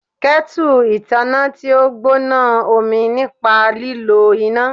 Kettle itanna ti o gbona omi nipa lilo ina